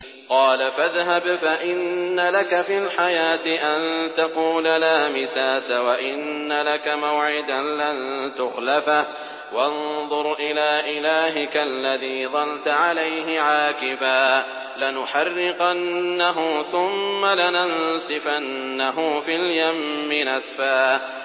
قَالَ فَاذْهَبْ فَإِنَّ لَكَ فِي الْحَيَاةِ أَن تَقُولَ لَا مِسَاسَ ۖ وَإِنَّ لَكَ مَوْعِدًا لَّن تُخْلَفَهُ ۖ وَانظُرْ إِلَىٰ إِلَٰهِكَ الَّذِي ظَلْتَ عَلَيْهِ عَاكِفًا ۖ لَّنُحَرِّقَنَّهُ ثُمَّ لَنَنسِفَنَّهُ فِي الْيَمِّ نَسْفًا